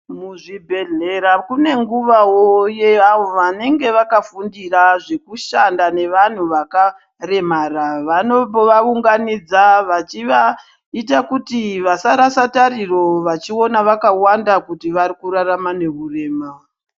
Kuzvibhedhlera kune nguwawo yeavo vanenge vakafundira zvekushanda nevantu vakaremara vanovaunganidza vachivaita kuti vasarasa tariro vachiona vakawanda kuti vari kurarama neurema.